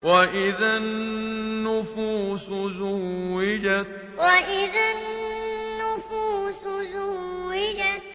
وَإِذَا النُّفُوسُ زُوِّجَتْ وَإِذَا النُّفُوسُ زُوِّجَتْ